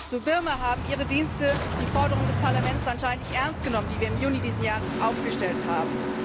Zu Birma haben Ihre Dienste die Forderungen des Parlaments anscheinend nicht ernst genommen, die wir im Juni dieses Jahres aufgestellt haben.